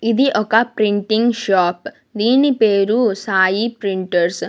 ఇది ఒక printing shop దీని పేరు సాయి ప్రింటర్స్ .